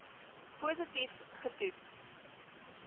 positief ge toets